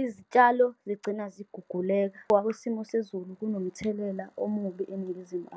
izitshalo zigcina ziguguleka. isimo sezulu kunomthelela omubi eNingizimu .